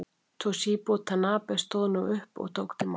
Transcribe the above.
Toshizo Tanabe stóð nú upp og tók til máls.